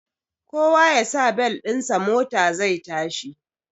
Kowa yasa bel ɗin sa mota zai yashi